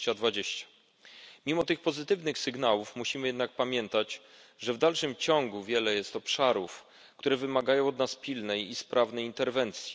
2020. Mimo tych pozytywnych sygnałów musimy jednak pamiętać, że w dalszym ciągu wiele jest obszarów, które wymagają od nas pilnej i sprawnej interwencji.